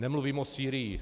Nemluvím o Sýrii.